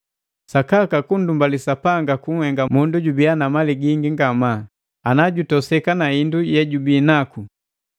Sakaka kundumbali Sapanga kunhenga mundu jubiya na mali gingi ngamaa, ana jutoseka na hindu yejubinaku.